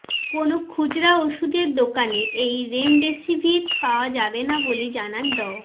কোনও খুচরা ওষুধের দোকানে এই রেমডেসিভির পাওয়া যাবে না বলে জানান ড